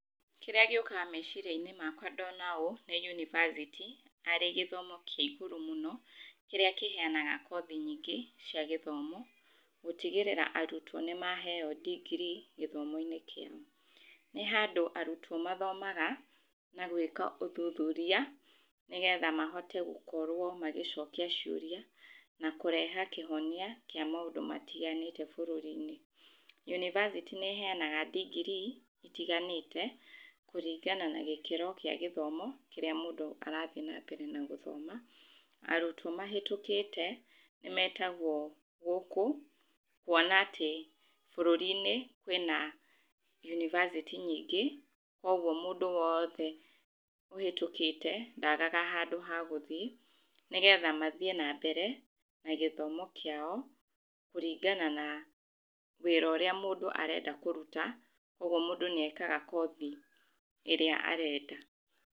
kĩrĩa gĩũkaga meciria-inĩ makwa ndona ũũ, nĩ university arĩ gĩthomo kĩa igũrũ mũno, kĩrĩa kĩheyanaga kothi nyingĩ cia gĩthomo, gũtigĩrĩra arutwo nĩ maheyo ndigiri gĩthomo-inĩ kĩu, nĩ handũ arutwo mathomaga na gwĩka ũthuthuria nĩgetha mahote gũkorwo magĩcokia ciũria, na kũrehe kĩhonia kĩa maũndũ matiganĩte bũrũri-inĩ. University nĩheyanaga ndigiri itiganĩte kũringana nagĩkĩro gĩa gĩthomo kĩrĩa mũndũ arathii na mbere na gũthoma. Arutwo mahetũkĩte nĩ metagwo gũkũ, kuona atĩ bũrũri-inĩ kwĩna university nyingĩ, kwoguo mũndũ wothe ũhetũkĩte ndagaga handũ hagũthi, nĩgetha mathiĩ na mbere, na gĩthomo kĩao kũringana na wĩra ũrĩa mũndũ arenda kũruta, ũguo mũndũ nĩ ekaga kothi ĩrĩa arenda.